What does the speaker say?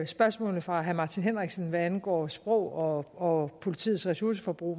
spørgsmålet fra herre martin henriksen hvad angår sprog og og politiets ressourceforbrug